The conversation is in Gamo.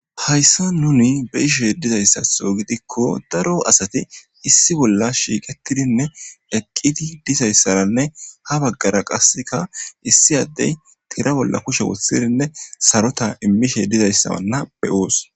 Hayssa nuni be ishos dizayssatho gidikko daro asati issi bolla shiiqetidinne eqqiti dizayssaranne ha baggara qasseka issi addey tira bolla kushe wothidinne sarota immishe dizayssamanna beyoos.